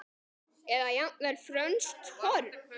Eða jafnvel frönsk horn?